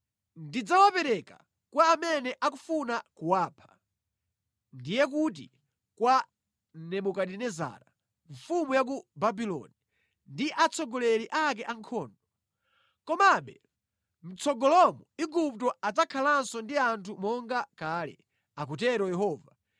Ndidzawapereka kwa amene akufuna kuwapha, ndiye kuti kwa Nebukadinezara mfumu ya ku Babuloni ndi atsogoleri ake ankhondo. Komabe, mʼtsogolomo Igupto adzakhalanso ndi anthu monga kale,” akutero Yehova.